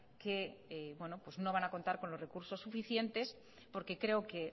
que no van a contar con los recursos suficientes porque creo que